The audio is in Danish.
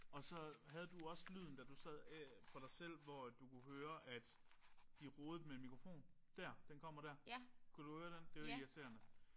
Og så havde du også lyden da du sad for dig selv hvor du kunne høre at de rodede med en mikrofon? Dér den kommer der. Kunne du høre den? Det er irriterende